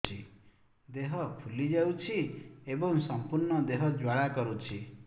ଦେହ ଫୁଲି ଯାଉଛି ଏବଂ ସମ୍ପୂର୍ଣ୍ଣ ଦେହ ଜ୍ୱାଳା କରୁଛି